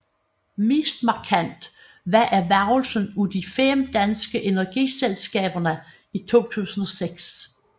Mest markant var erhvervelsen af de fem danske energiselskaber i 2006